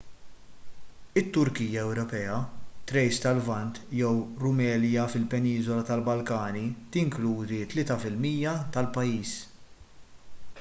it-turkija ewropea thrace tal-lvant jew rumelia fil-peniżola tal-balkani tinkludi 3 % tal-pajjiż